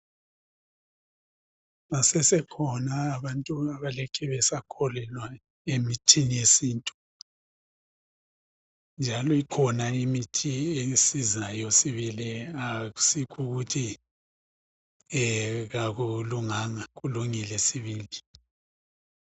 Basesekhona abantu abalokhe besakholelwa emithini yesintu. Njalo ikhona imithi esizayo sibili, akusikh' ukuthi akulunganga, kulungile sibili.